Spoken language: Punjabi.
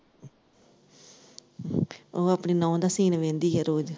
ਉਹ ਆਪਣੀ ਨੂੰਹ ਦਾ ਸੀਨ ਵਹਿੰਦੀ ਐ ਰੋਜ਼।